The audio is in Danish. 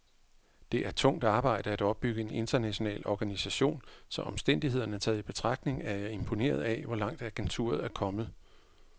Det er tungt arbejde at opbygge en international organisation, så omstændighederne taget i betragtning er jeg imponeret af, hvor langt agenturet er kommet.